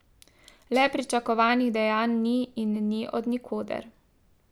Le pričakovanih dejanj ni in ni od nikoder.